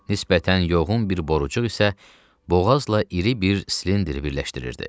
Nisbətən yoğun bir borucuq isə boğazla iri bir silindr birləşdirirdi.